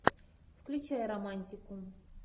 включай романтику